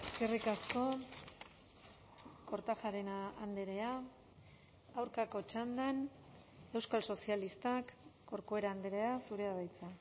eskerrik asko kortajarena andrea aurkako txandan euskal sozialistak corcuera andrea zurea da hitza